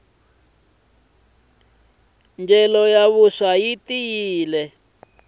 ndyelo ya vuswa yi tiyile